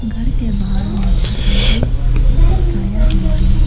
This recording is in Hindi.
घर के बाहर में छाता भी लटकाया हुआ है।